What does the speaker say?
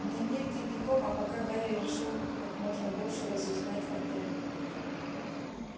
дневник дневником а пока гарри решил как можно больше разузнать о т